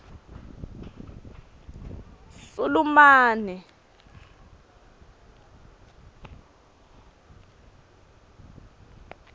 sulumane